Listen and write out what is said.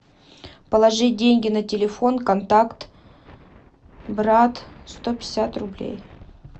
положить деньги на телефон контакт брат сто пятьдесят рублей